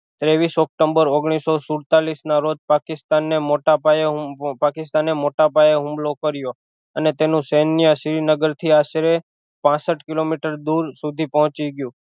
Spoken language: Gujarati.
ત્રેવીશ ઓક્ટોમ્બર ઓગનીશો સુડતાલીશ ના રોજ પકિસ્તાન ને મોટા પાયે હું પાકિસતાને મોટા પાયે હુમલો કર્યો અને તેનું સેન્ય શ્રીનગર થી આશરે પાસઠ કિલોમીટર દૂર સુધી પોહચી ગયું